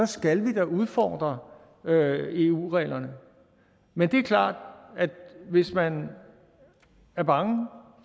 skal vi da udfordre eu reglerne men det er klart at hvis man er bange